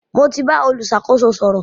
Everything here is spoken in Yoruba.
Mo ti bá olùṣàkóso sọ̀rọ̀.